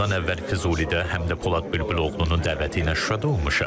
Bundan əvvəl Füzulidə, həm də Polad Bülbüloğlunun dəvəti ilə Şuşada olmuşam.